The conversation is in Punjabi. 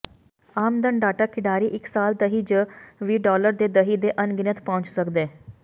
ਆਮਦਨ ਡਾਟਾ ਖਿਡਾਰੀ ਇੱਕ ਸਾਲ ਦਹਿ ਜ ਵੀ ਡਾਲਰ ਦੇ ਦਹਿ ਦੇ ਅਣਗਿਣਤ ਪਹੁੰਚ ਸਕਦੇ